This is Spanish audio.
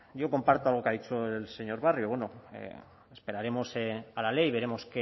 yo comparto algo que ha dicho el señor barrio bueno esperaremos a la ley veremos